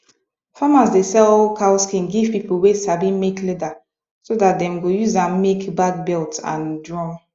farmers dey sell cow skin give people wey sabi make leather so dat dem go use am make bag belt and drum